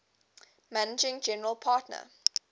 managing general partner